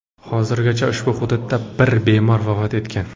Hozirgacha ushbu hududda bir bemor vafot etgan .